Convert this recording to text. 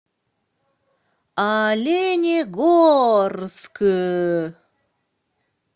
оленегорск